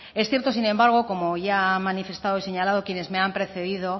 es cierto sin embargo como ya han manifestado y señalado quienes me han precedido